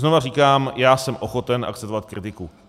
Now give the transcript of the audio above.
Znova říkám, já jsem ochoten akceptovat kritiku.